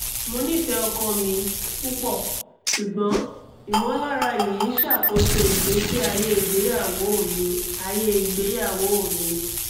mo nifẹ ọkọ mi pupọ ṣugbọn imọlara yii n ṣakoso igbesi aye igbeyawo mi aye igbeyawo mi